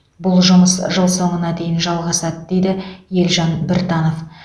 бұл жұмыс жыл соңына дейін жалғасады дейді елжан біртанов